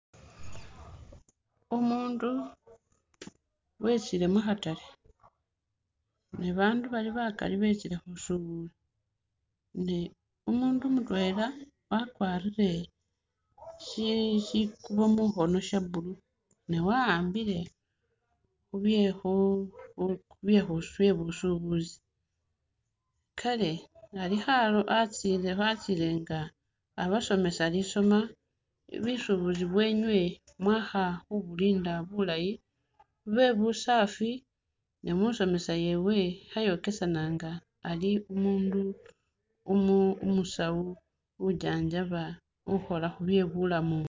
Umundu wetsile mukhatale ne bandu bali bakaali betsile khusubula me umundu mutwela wakwarile shikubo shi shikubo mukhono sha'blue ne wa'ambile khu khu byebusubuzi kale Ali watsile nga abasomesa lisoma busubuzi beenywe mwakha khubukenda bulaayi bebusafi namusomesa yewe khayokesananga Ali umundu umusaawuunjanjaba ukhola khubye bulamu